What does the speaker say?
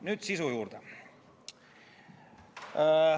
Nüüd sisu juurde.